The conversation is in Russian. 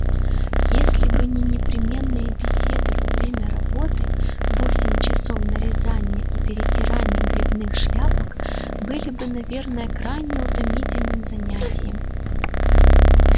если бы не непременные беседы во время работы восемь часов нарезания и перетирания грибных шляпок были бы наверное крайне утомительным занятием